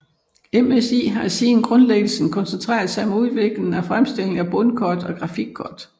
MSI har siden grundlæggelsen koncentreret sig om udvikling og fremstilling af bundkort og grafikkort